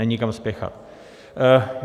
Není kam spěchat.